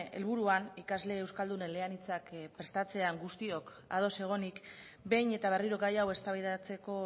helburuan ikasle euskaldun eleanitzak prestatzean guztiok ados egonik behin eta berriro gaia hau eztabaidatzeko